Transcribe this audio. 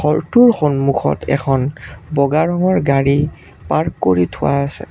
ঘৰটোৰ সন্মুখত এখন বগা ৰঙৰ গাড়ী পাৰ্ক কৰি থোৱা আছে।